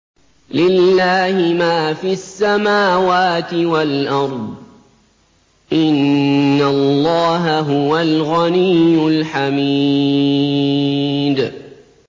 لِلَّهِ مَا فِي السَّمَاوَاتِ وَالْأَرْضِ ۚ إِنَّ اللَّهَ هُوَ الْغَنِيُّ الْحَمِيدُ